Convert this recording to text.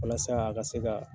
Walasa a ka se ka